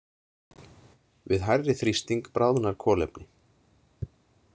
Við hærri þrýsting bráðnar kolefni.